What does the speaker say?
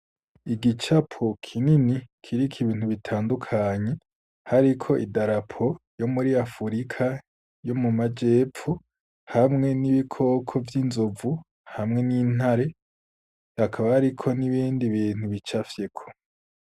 Igicapo kinini kiriko ibintu bitandukanye hariko idarapo yo muri afurika yo mu majepfo, hamwe n'ibikoko vy'inzovu, hamwe n'intare, hakaba hariko n'ibindi bintu bicafyeko.